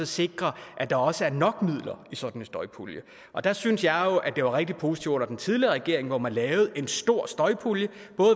sikre at der også er nok midler i sådan en støjpulje og der synes jeg jo at det var rigtig positivt under den tidligere regering hvor man lavede en stor støjpulje